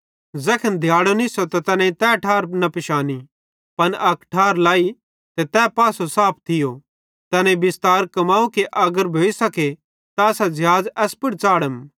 ज़ैखन दिहाड़ो निस्सो त तैनेईं तै ठार न पिशानी पन अक ठार लाई ते तै पासो साफ थियो तैनेईं बिस्तार कमाव कि अगर भोइसखे त असां ज़िहाज़ एस पुड़ च़ाढ़म